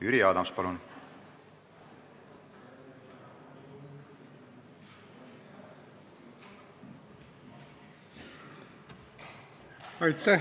Jüri Adams, palun!